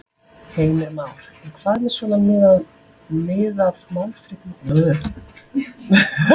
Heimir Már: En hvað með svona, miðað málflutning hinna flokkanna?